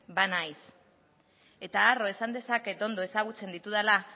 banaiz eta arro esan dezaket ondo ezagutzen ditudala